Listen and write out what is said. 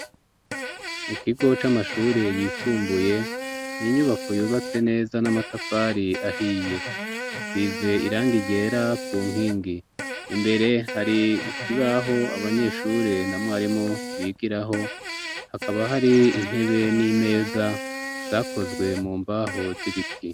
mu kigo c'amashuri yisumbuye n'inyubako yubatse neza n'amatafari ahiye isize irangi ryera ku nkingi imbere hari ikibaho abanyeshuri na mwarimu bigiraho hakaba hari intebe n'imeza zakozwe mu mbaho z'ibiti